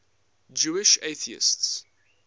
jewish atheists